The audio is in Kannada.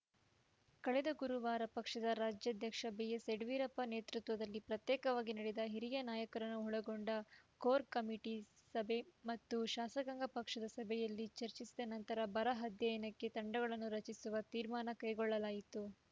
ಕಳೆದ ಗುರುವಾರ ಪಕ್ಷದ ರಾಜ್ಯಾಧ್ಯಕ್ಷ ಬಿಎಸ್‌ಯಡಿಯೂರಪ್ಪ ನೇತೃತ್ವದಲ್ಲಿ ಪ್ರತ್ಯೇಕವಾಗಿ ನಡೆದ ಹಿರಿಯ ನಾಯಕರನ್ನು ಒಳಗೊಂಡ ಕೋರ್‌ ಕಮಿಟಿ ಸಭೆ ಮತ್ತು ಶಾಸಕಾಂಗ ಪಕ್ಷದ ಸಭೆಯಲ್ಲಿ ಚರ್ಚಿಸಿದ ನಂತರ ಬರ ಅಧ್ಯಯನಕ್ಕೆ ತಂಡಗಳನ್ನು ರಚಿಸುವ ತೀರ್ಮಾನ ಕೈಗೊಳ್ಳಲಾಯಿತ್ತು